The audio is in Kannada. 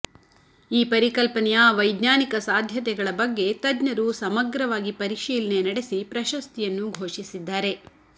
ಈ ಪರಿಕಲ್ಪನೆಯ ವೈಜ್ಞಾನಿಕ ಸಾಧ್ಯತೆಗಳ ಬಗ್ಗೆ ತಜ್ಞರು ಸಮಗ್ರವಾಗಿ ಪರಿಶೀಲನೆ ನಡೆಸಿ ಪ್ರಶಸ್ತಿಯನ್ನು ಘೋಷಿಸಿದ್ದಾರೆ